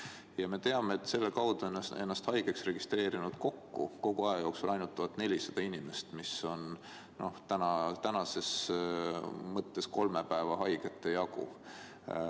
Ja me teame, et selle kaudu on ennast haigena registreerinud kokku kogu aja jooksul ainult 1400 inimest, mis on tänases mõttes kolme päeva haigete jagu.